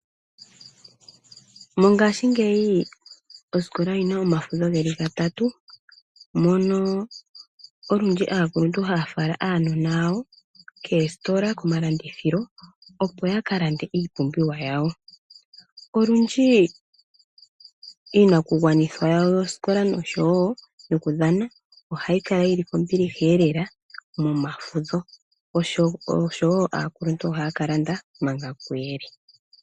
Mongashingeyi osikola oyi na omafudho geli gatatu. Mono olundji aakuluntu haya fala aanona yawo koositola, komalandithilo. Opo yaka lande iipumbiwa yawo. Olundji iinakugwanithwa yawo yokosikola noshowo yoku dhana oha yi kala yili kombiliha eelela momafudho. Oshowo aakuluntu ohaya ka landa manga kuyele.